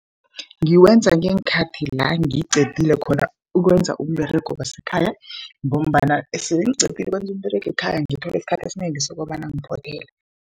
Ngiwenza ngeenkhathi la ngiqedile khona ukwenza umberego wasekhaya, ngombana sele ngiqedile ukwenza umberego wekhaya, ngithole isikhathi esinengi sokobana ngiphothele.